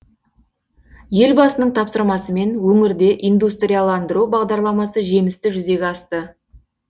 елбасының тапсырмасымен өңірде индустрияландыру бағдарламасы жемісті жүзеге асты